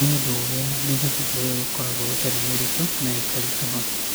Nĩ ũndũ wa ũrĩa mĩthabibũ ĩyo ĩkoragwo ĩtarĩ mĩritũ na ĩkaritũha.